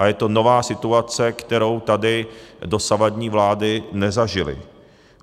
A je to nová situace, kterou tady dosavadní vlády nezažily.